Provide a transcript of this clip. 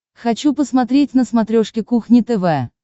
хочу посмотреть на смотрешке кухня тв